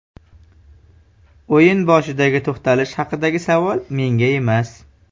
O‘yin boshidagi to‘xtalish haqidagi savol menga emas.